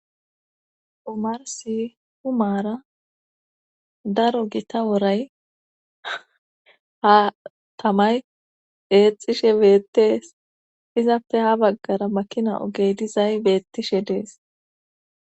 omarsi humaara daro gita woray ha tamay eexxishe beettees izappe ha baggara makina ogey dizay beettishe dees